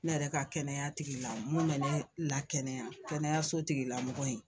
Ne yɛrɛ ka kɛnɛya tigila mun me ne lakɛnɛya kɛnɛyaso tigilamɔgɔ in